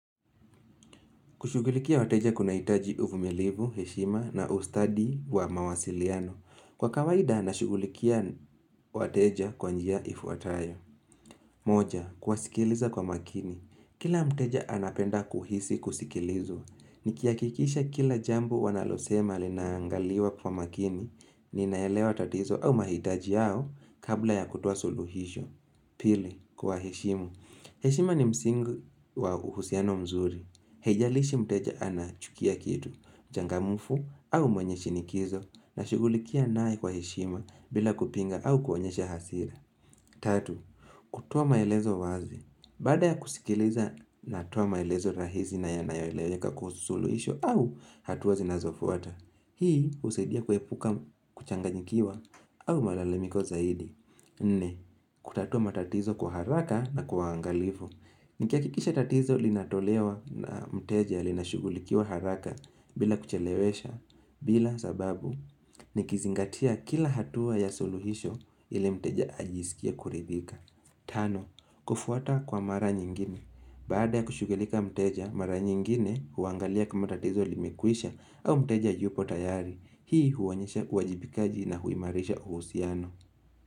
Kushughulikia wateja kunahitaji uvumilivu, heshima na ustadi wa mawasiliano. Kwa kawaida, na shughulikia wateja kwa njia ifuatayo. Moja, kuwasikiliza kwa makini. Kila mteja anapenda kuhisi kusikilizwa. Nikihakikisha kila jambo wanalosema linaangaliwa kwa makini, ninaelewa tatizo au mahitaji yao kabla ya kutoa suluhisho. Pili, kuwaheshimu. Heshima ni msingi wa uhusiano mzuri. Haijalishi mteja anachukia kitu, mchangamfu au mwenye shinikizo nashughulikia nae kwa heshima bila kupinga au kuonyesha hasira. Tatu, kutoa maelezo wazi. Baada ya kusikiliza natoa maelezo rahisi na yanayoeleweka kwa suluhisho au hatua zinazofuata. Hii husidia kuepuka kuchanganyikiwa au malalamiko zaidi. Nne, kutatua matatizo kwa haraka na kwa uangalifu. Nikihakikisha tatizo linatolewa na mteja linashughulikiwa haraka bila kuchelewesha bila sababu nikizingatia kila hatua ya suluhisho ile mteja ajisikie kuridhika. Tano, kufuata kwa mara nyingine. Baada ya kushughulika mteja, mara nyingine huangalia kama tatizo limekwisha au mteja yupo tayari. Hii huwaonyesha uajibikaji na huimarisha uhusiano.